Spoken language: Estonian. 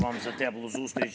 Valitsuse liikmed!